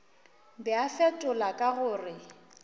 be a fetola ka gore